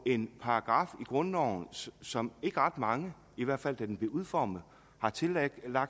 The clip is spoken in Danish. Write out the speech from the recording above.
en paragraf i grundloven som ikke ret mange i hvert fald da den blev udformet har tillagt